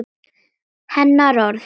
Hennar orð.